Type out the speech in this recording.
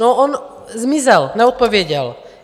No on zmizel, neodpověděl.